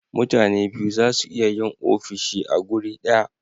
mutane biyu zasu iya Yin ofishi a guri daya